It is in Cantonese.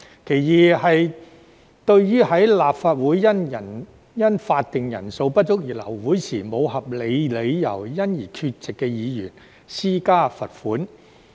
其二是對於立法會因法定人數不足而流會時，沒有合理理由而缺席的議員施加罰款。